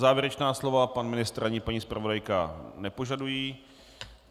Závěrečná slova pan ministr ani paní zpravodajka nepožadují.